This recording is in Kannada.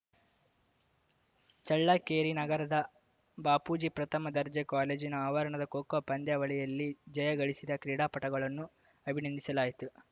ಚಳ್ಳಕೆರೆ ನಗರದ ಬಾಪೂಜಿ ಪ್ರಥಮ ದರ್ಜೆ ಕಾಲೇಜಿನ ಆವರಣದ ಖೋ ಖೋ ಪಂದ್ಯಾವಳಿಯಲ್ಲಿ ಜಯ ಗಳಿಸಿದ ಕ್ರೀಡಾಪಟುಗಳನ್ನು ಅಭಿನಂದಿಸಲಾಯಿತು